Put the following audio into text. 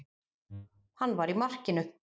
Hann var í markinu.